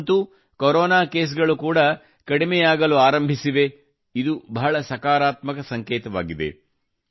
ಈಗಂತೂ corona case ಗಳು ಕೂಡಾ ಕಡಿಮೆಯಾಗಲಾರಂಭಿಸಿವೆ ಇದು ಬಹಳ ಸಕಾರಾತ್ಮಕ ಸಂಕೇತವಾಗಿದೆ